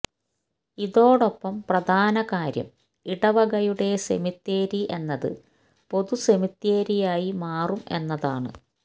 ഇതൊടൊപ്പം പ്രധാന കാര്യം ഇടവകയുടെ സെമിത്തേരി എന്നത് പൊതുസെമിത്തേരിയായി മാറും എന്നതാണ്